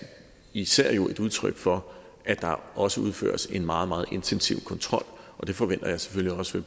især et udtryk for at der også udføres en meget meget intensiv kontrol og det forventer jeg selvfølgelig også